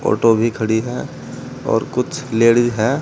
Auto भी खड़ी है और कुछ लेडिस है।